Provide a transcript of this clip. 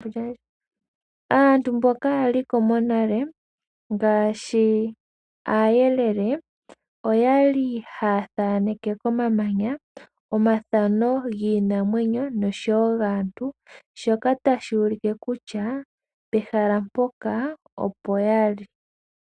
Aantu mboka yali ko monale ngaashi aayelele oyali haya thaaneke komamanya omathano giinamwenyo noshowo gaantu shoka tashi ulike kutya pehala mpoka opo ya li.